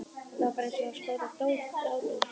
Þetta var bara eins og að skjóta dádýr.